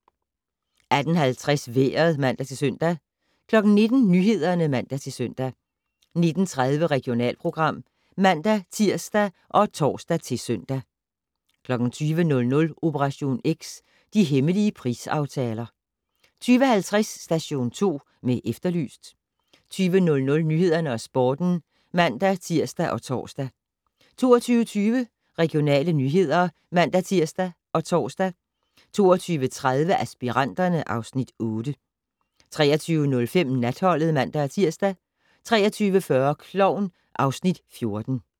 18:50: Vejret (man-søn) 19:00: Nyhederne (man-søn) 19:30: Regionalprogram (man-tir og tor-søn) 20:00: Operation X: De hemmelige prisaftaler 20:50: Station 2 med Efterlyst 22:00: Nyhederne og Sporten (man-tir og tor) 22:20: Regionale nyheder (man-tir og tor) 22:30: Aspiranterne (Afs. 8) 23:05: Natholdet (man-tir) 23:40: Klovn (Afs. 14)